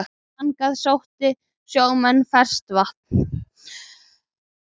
Þangað sóttu sjómenn áður ferskt vatn.